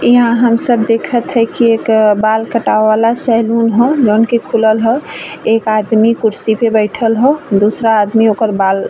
इहां हम सब देखत है की एक बाल कटाव वाला सैलून ह जौन की खुलल ह। एक आदमी कुर्सी पे बईठल ह दूसरा आदमी ओकर बाल --